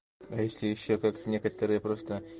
а если ещё как некоторые просто